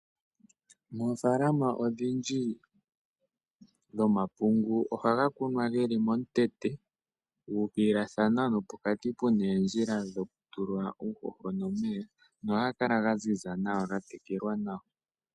Moofaalama odhindji dhomapungu ohaga kunwa geli momutete gu ukililathana, nopokati oondjila dhoku tula uuhoho nomeya, nohaga kala ga ziza nawa ga tekelwa nawa.